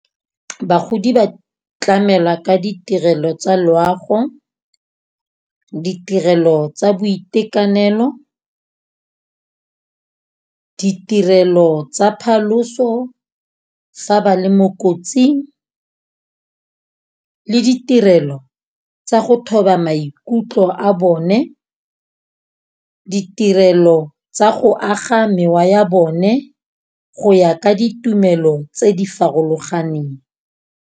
Bagodi ba tlamela ka ditirelo tsa loago, ditirelo tsa boitekanelo, ditirelo tsa phaloso fa ba le mo kotsing le ditirelo tsa go thoba maikutlo a bone. Ditirelo tsa go aga mewa ya bone go ya ka ditumelo tse di farologaneng.